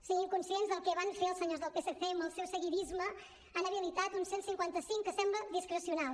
siguin conscients del que van fer els senyors del psc amb el seu seguidisme han habilitat un cent i cinquanta cinc que sembla discrecional